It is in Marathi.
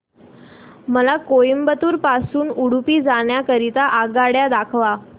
मला कोइंबतूर पासून उडुपी जाण्या करीता आगगाड्या दाखवा